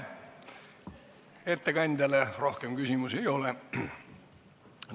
Ettekandjale rohkem küsimusi ei ole.